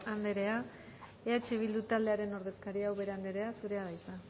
andrea eh bildu taldearen ordezkaria ubera andrea zurea da hitza